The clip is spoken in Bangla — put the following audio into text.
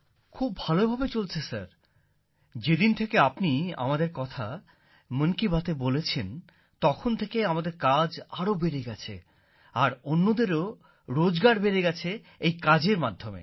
খুব ভালো ভাবে চলছে স্যার যেদিন থেকে আপনি আমাদের কথা মন কি বাতএ বলেছেন তখন থেকে আমাদের কাজ আরো বেড়ে গেছে আর অন্যদেরও রোজগার বেড়ে গেছে এই কাজের মাধ্যমে